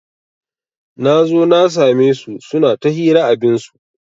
Nazo na sa me su suna ta hira abinsu